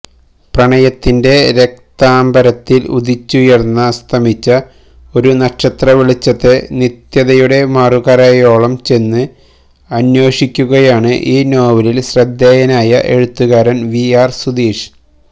പ്രണയത്തിന്റെ രക്താംബരത്തിൽ ഉദിച്ചുയർന്നസ്തമിച്ച ഒരു നക്ഷത്രവെളിച്ചത്തെ നിത്യതയുടെ മറുകരയോളംചെന്ന് അന്വേഷിക്കുകയാണ് ഈ നോവലിൽ ശ്രദ്ധേയനായ എഴുത്തുകാരൻ വി ആർ സുധീഷ്